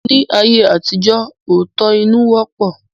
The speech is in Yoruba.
Ní ayé àtijọ́, òótọ́-inú wọ́pọ̀